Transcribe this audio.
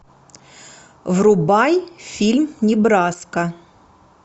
врубай фильм небраска